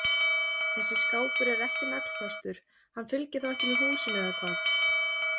Þessi skápur er ekki naglfastur, hann fylgir þá ekki með húsinu eða hvað?